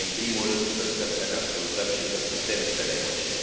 nevoie în primul rând să stăm să ne ascultăm și să putem să negociem.